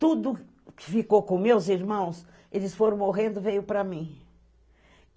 Tudo que ficou com meus irmãos, eles foram morrendo, veio pra mim.